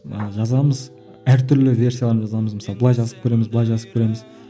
ыыы жазамыз әртүрлі версиялармен жазамыз мысалы былай жазып көреміз былай жазып көреміз